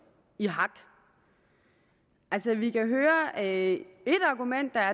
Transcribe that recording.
i hak altså vi hører at